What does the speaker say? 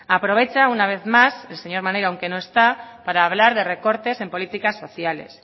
aprovecha una vez más el señor maneiro aunque no está para hablar de recortes en políticas sociales